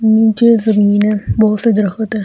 नीचे जमीन पे बोहोत से दरख्त है।